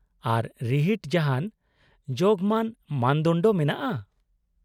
-ᱟᱨ, ᱨᱤᱦᱤᱴ ᱡᱟᱦᱟᱱ ᱡᱳᱜᱢᱟᱱ ᱢᱟᱱᱫᱚᱱᱰᱚ ᱢᱮᱱᱟᱜᱼᱟ ?